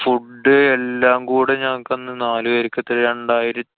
food എല്ലാം കൂടെ ഞങ്ങള്‍ക്കന്നു നാലു പെര്‍ക്കെത്ര രണ്ടായിര